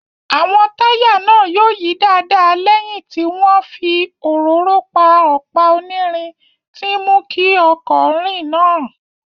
Àwọn táyà náà yóò yí dáadáa lẹ́yìn tí wọ́n fi òróró pa ọ̀pá onírin tí ń mú ọkọ̀ rìn náà